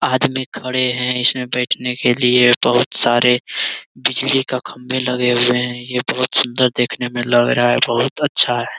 आदमी खड़े हैं इसमें बैठने के लिए बहुत सारे बिजली के खम्बे लगे हुए हैं यह बहुत सुंदर देखने में लग रहा है बहुत अच्छा है।